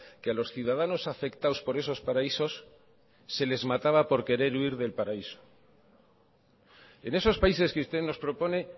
que a los ciudadanos afectados por esos paraísos se les mataba por querer huir del paraíso en esos países que usted nos propone